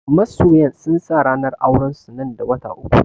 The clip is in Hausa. Masoyan sun sa ranar auren su nan da wata uku